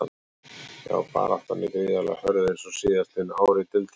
Já baráttan er gríðarlega hörð eins og síðastliðin ár í deildinni.